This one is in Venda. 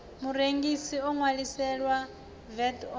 murengisi o ṅwaliselwaho vat online